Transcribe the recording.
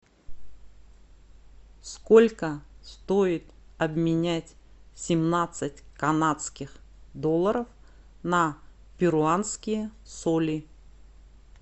сколько стоит обменять семнадцать канадских долларов на перуанские соли